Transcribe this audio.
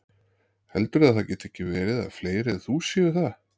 Heldurðu að það geti ekki verið að fleiri en þú séu það?